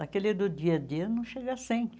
Naquele do dia a dia não chega sempre.